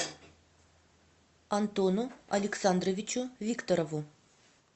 антону александровичу викторову